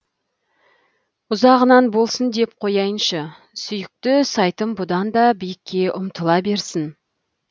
ұзағынан болсын деп қояйыншы сүйікті сайтым бұдан да биікке ұмтыла берсін